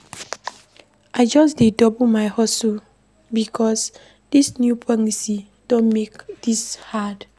I just dey double my hustle because dis new policy don make tins hard.